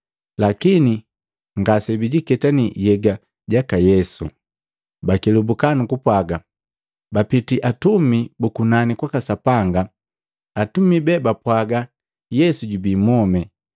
lakini ngase bijiketanii nhyega jaka Yesu. Bakelubuka nu kupwaga, baapitii atumi bu kunani kwaka Sapanga, atumi be bapwaga Yesu jubii mwome.